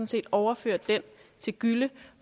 set overfører den til gylle